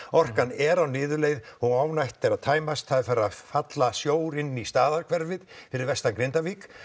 orkan er á niðurleið og á eftir að tæmast það er farið að falla sjór inn í staðarhverfið fyrir vestan Grindavík